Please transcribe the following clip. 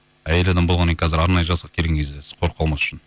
әйел адам болғаннан кейін қазір арнайы жасақ келген кезде сіз қорқып қалмас үшін